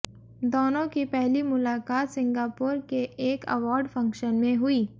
दोनों की पहली मुलाकात सिंगापुर के एक अवॉर्ड फंक्शन में हुई